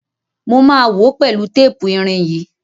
Mo máa wòó pẹ̀lú tépù irin yìí.